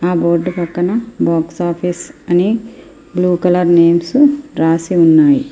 ఆ బోర్డు పక్కన box office అని బ్లూ నేమ రాసి ఉంది.